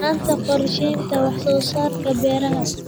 La'aanta qorshaynta wax-soo-saarka beeraha.